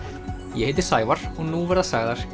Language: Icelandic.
ég heiti Sævar og nú verða sagðar